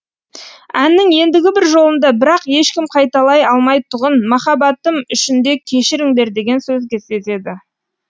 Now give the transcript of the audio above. әннің ендігі бір жолында бірақ ешкім қайталай алмайтұғын махаббатым үшін де кешіріңдер деген сөз кездеседі